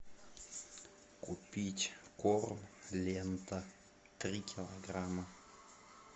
купить корм лента три килограмма